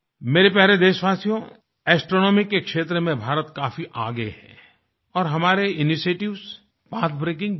मेरे प्यारे देशवासियो एस्ट्रोनॉमी के क्षेत्र में भारत काफी आगे है और हमारे इनिशिएटिव्स पथ ब्रेकिंग भी हैं